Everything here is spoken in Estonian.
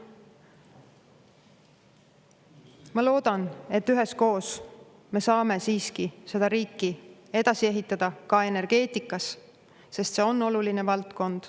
Ma loodan, et üheskoos me saame siiski seda riiki edasi ehitada ka energeetikas, sest see on oluline valdkond.